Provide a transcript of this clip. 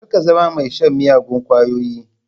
Kar ka zama mai shan miyagun kwayoyi.